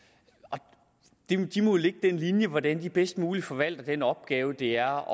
og de må lægge den linje hvordan de bedst muligt forvalter den opgave det er